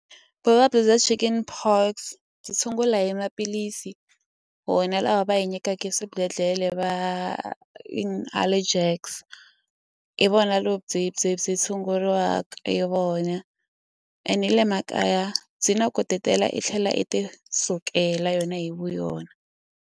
Vuvabyi bya chicken pox byi tshungula hi maphilisi wona lawa va hi nyikaku swibedhlele va in allegex i vona lebyi byi tshunguriwa hi vona ene ni le makaya byi na ku ti tela i tlhela i ti sukela yona hi vuyona.